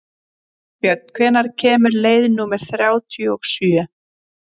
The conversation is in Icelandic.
Herbjörn, hvenær kemur leið númer þrjátíu og sjö?